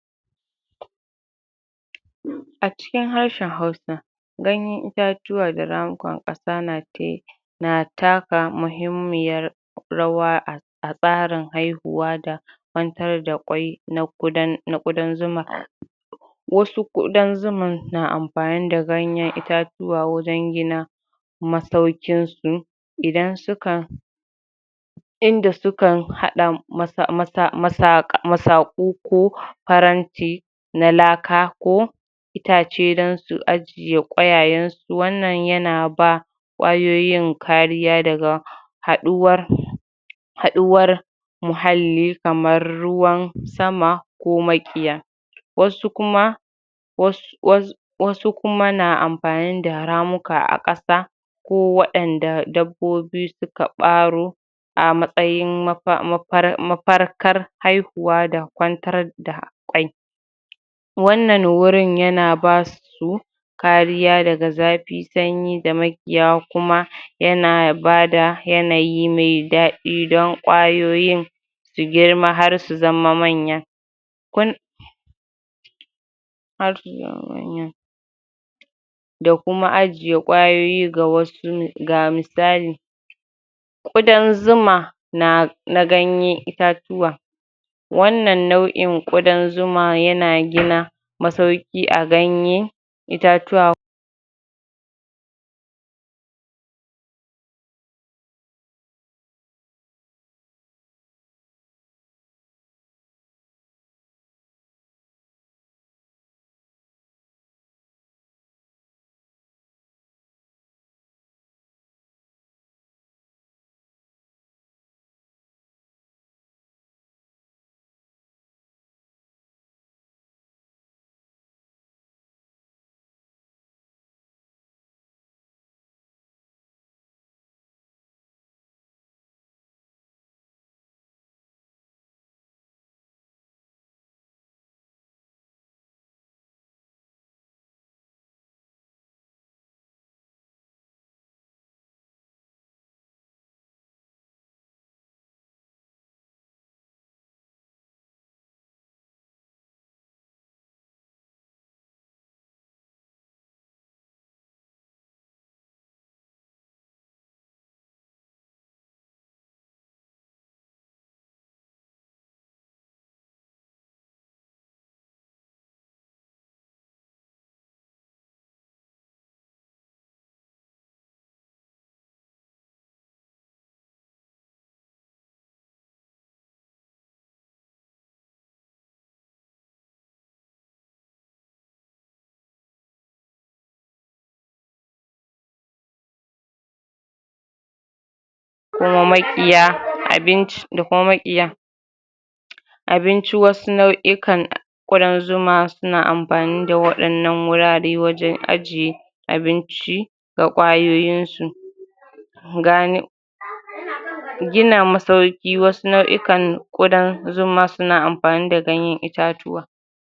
A cikin harshen hausa, Ganyen itatuwa da na taka muhimmyar rawa a a tsarin haihuwa da kwantar da kwai na ƙudan na ƙudan zuma Wasu ƙudan zuman na amfani da ganyen itatuwa wurin gina masauƙin su idan su ka Inda sukan haɗa masa masa masaƙa masaƙu ko faranti na laka ko, itace dan su ajiye ƙwayayensu wannan ya na ba ƙwayoyin kariya daga haɗuwar haɗuwar muhalli kamar ruwan sama ko maƙiya. Wasu kuma was was wasu kuma na amfani da ramuka a ƙasa ko waɗanda dabbobi suka ɓaro a matsayin mafa mafar mafarkar haihuwa da kwantar da ƙwai wannan wurin ya na basu kariya daga zafi, sanyi, da maƙiya kuma huh ya na bada yanayi me daɗi don ƙwayoyin su girma har su zama manya. Kun da kuma ajiye ƙwayoyi ga wasu Ga misali, Ƙudan zuma na na ganye itatuwa Wannan nau'in Ƙudan zuma ya na gina masauƙi a ganye itatuwa Kuma maƙiya abinci da kuma maƙiya abinci wasu nau'ikan a ƙudan zuman na amfani da waɗannan wurare wajen ajiye abinci da ƙwayoyinsu. gina masauƙi wasu nau'ikan ƙudan zuma su na amfani da ganyen itatuwa